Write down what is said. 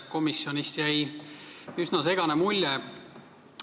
Komisjonis jäi asjast üsna segane mulje.